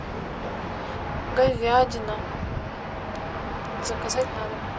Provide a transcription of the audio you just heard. говядина заказать на дом